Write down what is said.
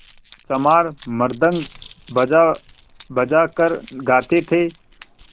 चमार मृदंग बजाबजा कर गाते थे